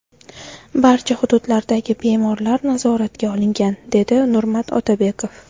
Barcha hududlardagi bemorlar nazoratga olingan”, dedi Nurmat Otabekov.